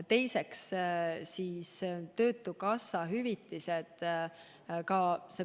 Teiseks oli võimalik taotleda töötukassa hüvitist.